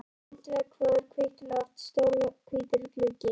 Grænt veggfóður, hvítt loft, stór hvítur gluggi.